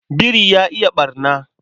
Biri ya iya ɓarna.